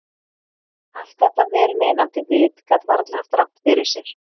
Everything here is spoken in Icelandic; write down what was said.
Allt þetta vel meinandi vit gat varla haft rangt fyrir sér.